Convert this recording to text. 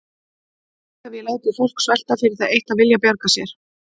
Nær hef ég látið fólk svelta fyrir það eitt að vilja bjarga sér?